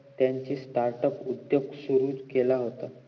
त्यांचा startup उद्दोग सुरु केला होता